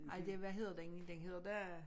Nej det hvad hedder den den hedder da